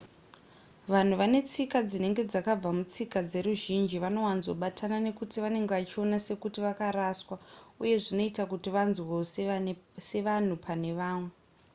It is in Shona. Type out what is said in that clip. vanhu vane tsika dzinenge dzakabva mutsika dzeruzhinji vanowanzobatana nekuti vanenge vachiona sekuti vakaraswa uye zvinoita kuti vanzwewo sevanhu pane vamwe